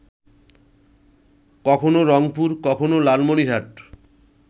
কখনো রংপুর, কখনো লালমনিরহাট